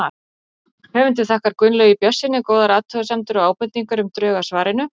Höfundur þakkar Gunnlaugi Björnssyni góðar athugasemdir og ábendingar um drög að svarinu.